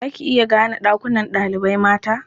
Za ki iya gane ɗakunan ɗalibai mata?